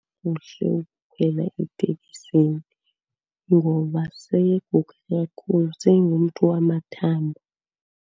Kuhle ukukhwela etekisini ngoba seyeguge kakhulu, sengumntu wamathambo.